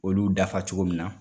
Olu dafa cogo min na